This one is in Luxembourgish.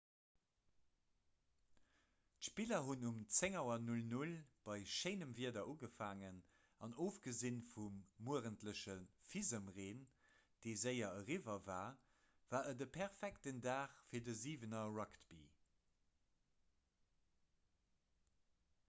d'spiller hunn um 10.00 auer bei schéinem wieder ugefaangen an ofgesi vum muerentleche fisemreen dee séier eriwwer war war et e perfekten dag fir siwener-rugby